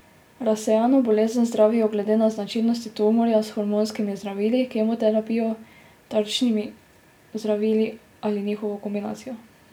Razsejano bolezen zdravijo glede na značilnosti tumorja s hormonskimi zdravili, kemoterapijo, tarčnimi zdravili ali njihovo kombinacijo.